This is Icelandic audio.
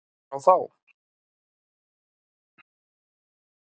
Hver á þá.